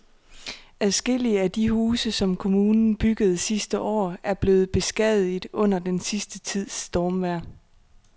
Adskillige af de huse, som kommunen byggede sidste år, er blevet beskadiget under den sidste tids stormvejr.